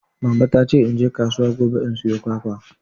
Mama ta ce in naje kasuwa gobe in sayo kwakwa.